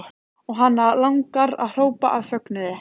Og hana langar að hrópa af fögnuði.